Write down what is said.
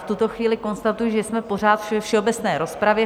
V tuto chvíli konstatuji, že jsme pořád ve všeobecné rozpravě.